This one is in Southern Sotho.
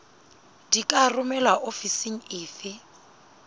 di ka romelwa ofising efe